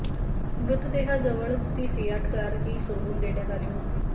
मृतदेहाजवळच ती फियाट कारही सोडून देण्यात आली होती